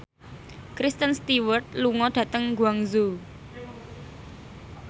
Kristen Stewart lunga dhateng Guangzhou